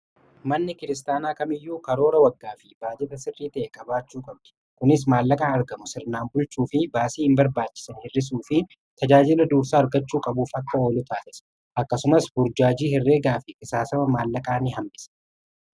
manni kiristaanaa kamiyyuu karoora waggaa fi baajata sirrii ta'e qabaachuu qabdi . kunis maallaqaa argamu sirnaan bulchuu fi baasii hin barbaachisa hirrisuu fi tajaajila dursaa argachuu qabuuf akka oluu taases akkasumas burjaajii hirreegaa fi qisaasama maallaqaa ni hambisa.